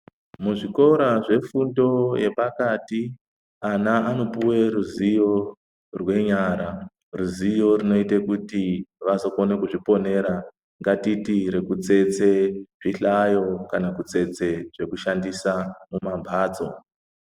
Muzvikora zvefundo yepakati ana anopuwa ruzivo renyara ruzivo rinoite kuti vazokona kuzviponera ngatiti rekutsetsa zvihlayo kana kutsetse zvekushandisa pambatso.